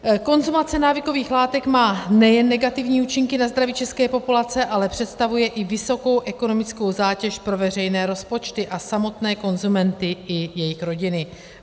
Konzumace návykových látek má nejen negativní účinky na zdraví české populace, ale představuje i vysokou ekonomickou zátěž pro veřejné rozpočty a samotné konzumenty i jejich rodiny.